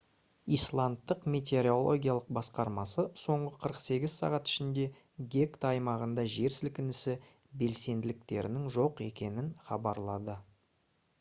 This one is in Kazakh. исландтық метеорологиялық басқармасы соңғы 48 сағат ішінде гекта аймағында жер сілкінісі белсенділіктерінің жоқ екенін хабарлады